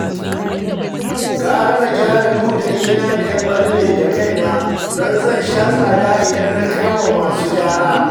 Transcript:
Gara na gyara ludayina da ya ɓalle da kaina don zan sha tsada idan na kai wa masu gyara